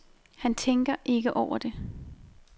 Han tænker ikke over det.